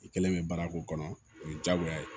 I kɛlen bɛ baara k'o kɔnɔ o ye diyagoya ye